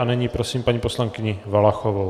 A nyní prosím paní poslankyni Valachovou.